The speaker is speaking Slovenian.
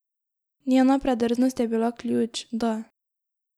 Njena predrznost je bila ključ, da.